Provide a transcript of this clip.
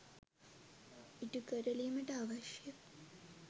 ඉටු කරලීමට අවශ්‍ය